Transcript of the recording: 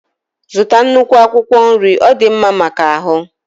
Zụta nnukwu akwụkwọ nri ọ dị mma maka ahụ